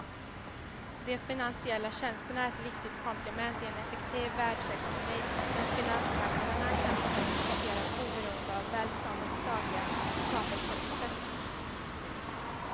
De finansiella tjänsterna är ett viktigt komplement i en effektiv världsekonomi men finansmarknaderna kan inte existera oberoende av välståndets dagliga skapelseprocess.